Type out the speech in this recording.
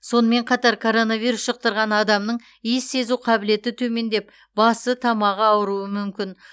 сонымен қатар коронавирус жұқтырған адамның иіс сезу қабілеті төмендеп басы тамағы ауыруы мүмкін